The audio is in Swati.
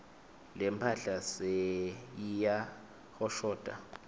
lemphahla seyiyahoshota